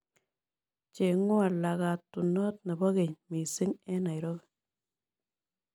Cheng'won laagatunoot ne po keny misiing' eng' nairobi